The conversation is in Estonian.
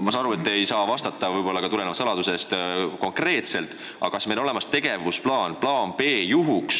Ma saan aru, et te ei saa võib-olla riigisaladusest tulenevalt konkreetselt vastata, aga kas meil on olemas tegevusplaan B juhuks,